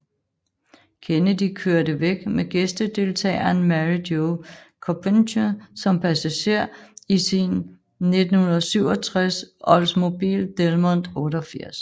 Kennedy kørte væk med gæstdeltageren Mary Jo Kopechne som passager i sin 1967 Oldsmobile Delmont 88